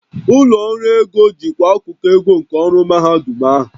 Ụlọ ọrụ ego jikwaa akụkụ ego nke ọrụ mahadum ahụ